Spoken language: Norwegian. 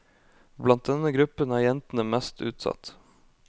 Blant denne gruppen er jentene mest utsatt.